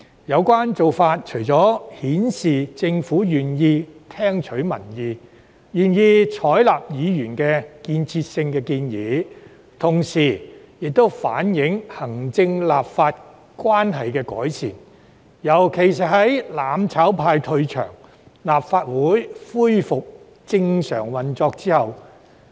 有關做法除了顯示政府願意聽取民意、採納議員提出的建設性建議，也反映出行政立法關係的改善，尤其是在"攬炒派"退場，立法會恢復正常運作後。